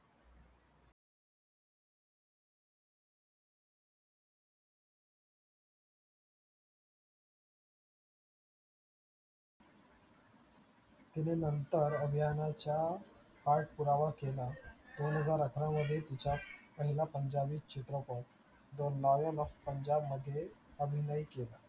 actually नंतर अभियानाचा पाठपुरावा केला. दोनहजार अकरामध्ये तिचा पहिला पंजाबी चित्रपट the novel of पंजाब मध्ये अभिनय केला.